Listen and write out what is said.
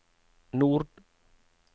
nord